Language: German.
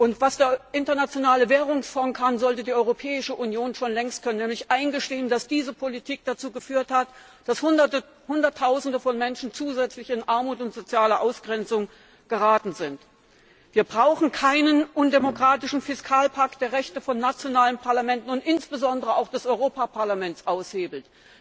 Und was der Internationale Währungsfonds kann, sollte die Europäische Union schon längst können, nämlich eingestehen, dass diese Politik dazu geführt hat, dass Hunderttausende von Menschen zusätzlich in Armut und soziale Ausgrenzung geraten sind. Wir brauchen keinen undemokratischen Fiskalpakt, der Rechte von nationalen Parlamenten und insbesondere auch des Europäischen Parlaments aushebelt.